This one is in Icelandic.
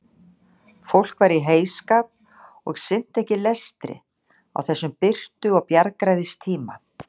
Fólk var í heyskap og sinnti ekki lestri á þessum birtu og bjargræðistíma.